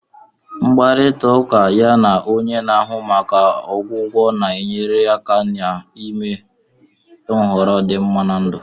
Mkparịta ụka ya na onye na-ahụ maka ọgwụgwọ na-enyere aka n'ime nhọrọ dị mma na ndụ